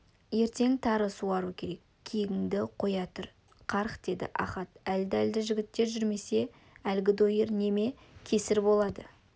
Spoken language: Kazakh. ертең тары суару керек киігіңді қоя тұр қарақ деді ахат әлді-әлді жігіттер жүрмесе әлгі дойыр неме кесір болады